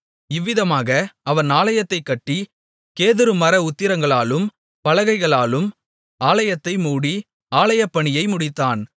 இவ்விதமாக அவன் ஆலயத்தைக் கட்டி கேதுரு மர உத்திரங்களாலும் பலகைகளாலும் ஆலயத்தை மூடி ஆலயப்பணியை முடித்தான்